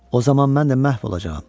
O zaman mən də məhv olacağam.